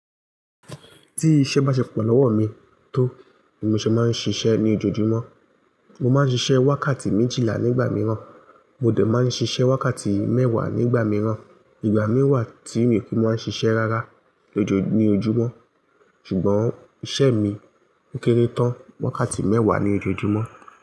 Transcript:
Tí iṣẹ́ bá ṣe pọ̀ lọ́wọ́ mi tó, ni mo ṣe máa ń ṣiṣẹ́ ní ojoojúmọ́. Mo máa ń ṣiṣẹ́ wákàtí méjìlá nígbà mìíràn, mo dẹ̀ máa ń ṣiṣẹ́ wákàtí mẹ́wàá nígbà mìíràn. Ìgbà mì wa tí mi o ki, máa ń ṣiṣẹ́ rárá lójoojúmọ́. Ṣùgbọ́n iṣẹ́ mi ń o kéré tán wákàtí mẹ́wàá ní ojoojúmọ́.